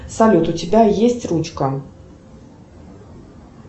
салют у тебя есть ручка